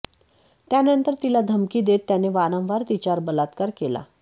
त्यानंतर तिला धमकी देत त्याने वारंवार तिच्यावर बलात्कार केला